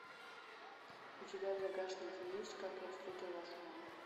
у тебя в загашнике есть как я встретил вашу маму